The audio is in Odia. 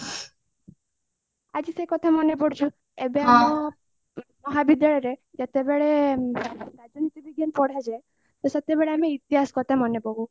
ଆଜି ସେଇ କଥା ମନେ ପଡୁଛି ଏବେ ଆମ ବିଦ୍ୟାଳୟରେ ଯେତେବେଳେ ରାଜନୀତି ବିଜ୍ଞାନ ପଢାଯାଏ ତ ସେତେବେଳେ ଆମେ ଇତିହାସ କଥା ମନେ ପକଉ